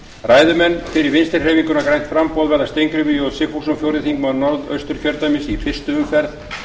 ræðumenn fyrir vinstri hreyfinguna grænt framboð verða steingrímur j sigfússon fjórði þingmaður norðausturkjördæmis í fyrstu umferð